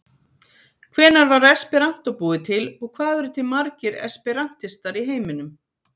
Hvenær var esperantó búið til og hvað eru til margir esperantistar í heiminum?